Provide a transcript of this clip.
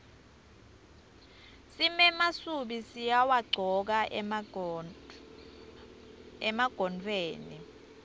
simemasubi siwagcoka emagontfweni